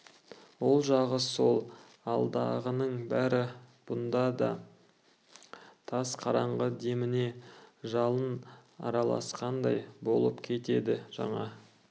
ол жағы сол алдағының бәрі бұнда да тас қараңғы деміне жалын араласқандай болып кетеді жаңа